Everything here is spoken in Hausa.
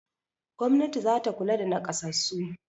Gwamnati za ta kula da naƙasassu.